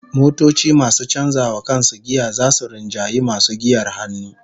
Motoci masu canza wa kansu giya zasu rinjayi masu giyar hannu